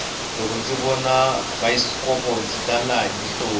loko ndzi vona bayisikopo ndzi tela hi mihoti